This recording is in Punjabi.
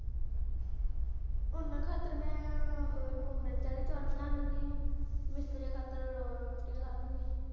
ਓਹਨਾ ਖਾਤਿਰ ਮੈਂ ਉਹ ਲੂਣ ਮਿਰਚ ਵਾਲੇ ਚੌਲ ਬਣਾ ਲੂੰਗੀ, ਮਿਸਤਰੀਆਂ ਖਾਤਿਰ ਰੋਟੀਆਂ ਲਾਹਲੂੰਗੀ।